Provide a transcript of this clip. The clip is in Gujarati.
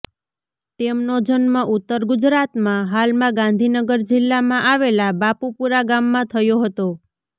તેમનો જન્મ ઉત્તર ગુજરાતમાં હાલમાં ગાંધીનગર જિલ્લામાં આવેલા બાપુપુરા ગામમાં થયો હતો